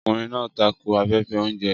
Ọkùnrin náà tako afẹ́fẹ́ oúnjẹ.